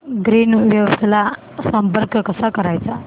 Greenwaves ला संपर्क कसा करायचा